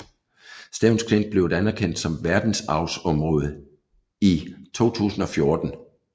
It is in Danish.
Stevns Klint blev et anerkendt som verdensarvsområde ti 2014